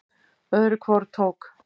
Öðru hvoru tók